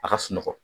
A ka sunɔgɔ